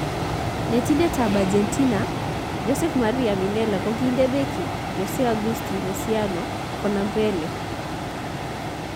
Netindet ab Argentina Jose Maria Minella kokinde Beki Jose Agusti Mesiano konam Pele